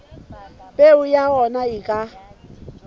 peo ya ona e ka